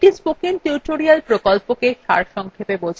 এটি spoken tutorial প্রকল্পটি সারসংক্ষেপে বোঝায়